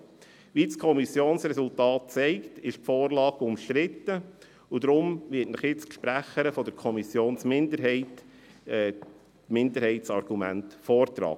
Wie das Kommissionsresultat zeigt, ist die Vorlage umstritten, und deshalb wird Ihnen nun die Sprecherin der Kommissionsminderheit die Minderheitsargumente vortragen.